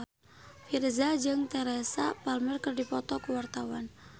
Virzha jeung Teresa Palmer keur dipoto ku wartawan